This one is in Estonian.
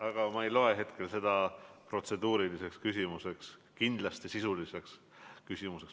Aga ma ei loe seda küsimust protseduuriliseks küsimuseks, vaid kindlasti sisuliseks.